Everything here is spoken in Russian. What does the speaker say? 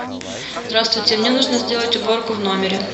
здравствуйте мне нужно сделать уборку в номере